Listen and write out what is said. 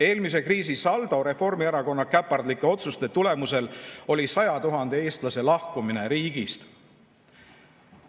Eelmise kriisi saldo Reformierakonna käpardlike otsuste tulemusel oli 100 000 eestlase lahkumine riigist.